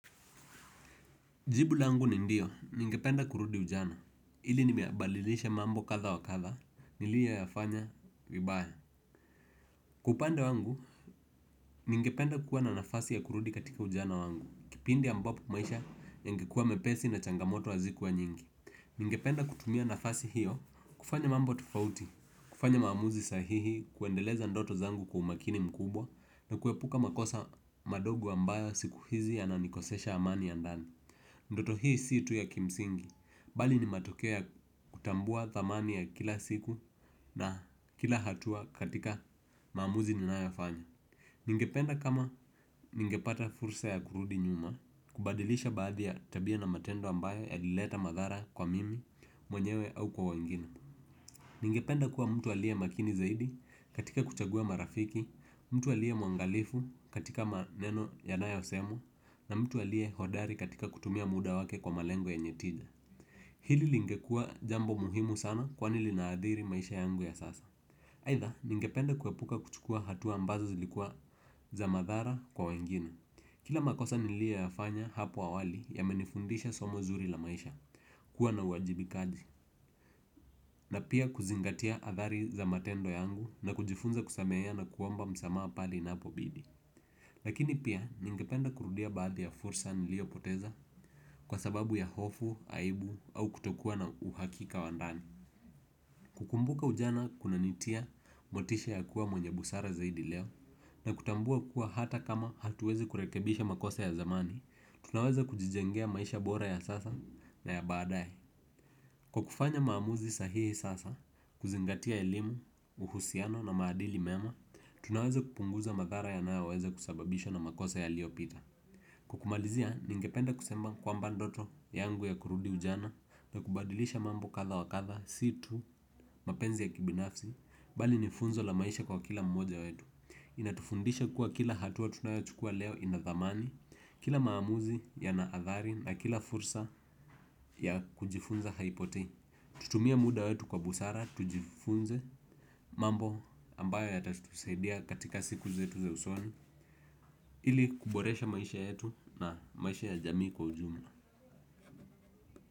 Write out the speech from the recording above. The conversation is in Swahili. Jibu langu ni ndio ningependa kurudi ujana ili nimeyabadilisha mambo katha wakatha niliye yafanya vibaya. Kwa upande wangu, ningependa kuwa na nafasi ya kurudi katika ujana wangu, kipindi ambapo kumaisha yangikuwa mepesi na changamoto wazikuwa nyingi. Mingependa kutumia nafasi hiyo, kufanya mambo tufauti, kufanya maamuzi sahihi, kuendeleza ndoto zangu kwa umakini mkubwa, na kuepuka makosa madogo ambayo siku hizi yananikosesha amani ya ndani. Ndoto hii situ ya kimsingi, bali ni matokeo kutambua thamani ya kila siku na kila hatua katika maamuzi ninayoyafanya. Ningependa kama ningepata fursa ya kurudi nyuma, kubadilisha baadhi ya tabia na matendo ambayo ya lileta madhara kwa mimi, mwenyewe au kwa wangina. Ningependa kuwa mtu alie makini zaidi katika kuchagua marafiki, mtu aliae mwangalifu katika maneno ya naya osemu, na mtu alie hodari katika kutumia muda wake kwa malengo yenye tija. Hili lingekua jambo muhimu sana kwani linaadhiri maisha yangu ya sasa. Aitha ningependa kuwepuka kuchukua hatu ambazo zilikuwa za madhara kwa wengine. Kila makosa nilie yafanya hapo awali yamenifundisha somo zuri la maisha. Kuwa na uwajibikaji na pia kuzingatia adhari za matendo yangu na kujifunza kusamea ya na kuomba msamaa pale inapobidi. Lakini pia ningependa kurudia baadhi ya fursa nilio poteza kwa sababu ya hofu, aibu au kutokuwa na uhakika wandani. Kukumbuka ujana kuna nitia motisha ya kuwa mwenye busara zaidi leo na kutambua kuwa hata kama hatuwezi kurekebisha makosa ya zamani, tunaweza kujijengea maisha bora ya sasa na ya baadae. Kwa kufanya maamuzi sahihi sasa, kuzingatia elimu, uhusiano na maadili mema, tunaweza kupunguza madhara ya naoweza kusababisha na makosa ya lio pita. Kwa kumalizia ningependa kusemba kwa mbandoto yangu ya kurudi ujana na kubadilisha mambo katha wakatha situ mapenzi ya kibinafsi bali nifunzo la maisha kwa kila mmoja wetu. Inatufundisha kuwa kila hatua tunayochukua leo inathamani, kila maamuzi ya naathari na kila fursa ya kujifunza haipotei. Tutumie muda wetu kwa busara, tujifunze mambo ambayo ya tatufusaidia katika siku zetu za usoni ili kuboresha maisha yetu na maisha ya jamii kwa ujumla.